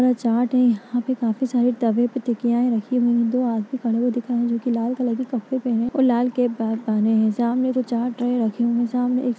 यह चाट है। यहाँ पे काफी सारे तवे पे टिक्कीयाये रखी हुई है। दो आदमी खड़े हुए दिख रहे है जो की लाल कपड़े पहने है और लाल कैप पहने है। सामने वो रखे हुए है सामने --